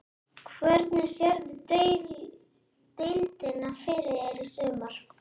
Hvernig sérðu deildina fyrir þér í sumar?